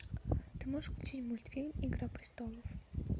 ты можешь включить мультфильм игра престолов